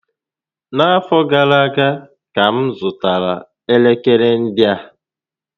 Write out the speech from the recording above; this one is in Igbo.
Na afọ gara aga ka m zụtara elekere ndị a